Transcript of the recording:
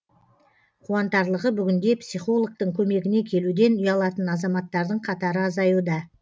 қуантарлығы бүгінде психологтың көмегіне келуден ұялатын азамттардың қатары азаюда